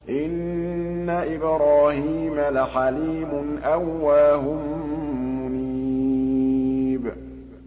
إِنَّ إِبْرَاهِيمَ لَحَلِيمٌ أَوَّاهٌ مُّنِيبٌ